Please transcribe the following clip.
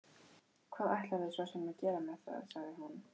Hvað ætlarðu svo sem að gera með það, sagði hún.